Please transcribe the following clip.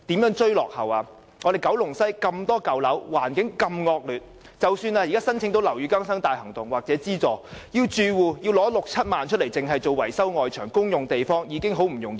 九龍西的舊樓為數眾多，而且環境惡劣，即使住戶可以申請樓宇更新大行動的資助，但要他們支付六七萬元維修外牆等公用地方實在不容易。